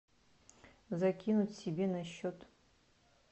закинуть себе на счет